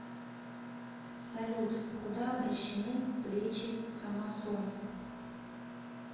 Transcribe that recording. салют куда обращены плечи хромосом